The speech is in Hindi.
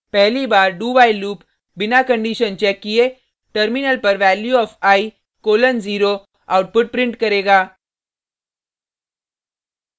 पहली बार dowhile लूप बिना कंडिशन चेक किये टर्मिनल पर value of i colon 0 output print करेगा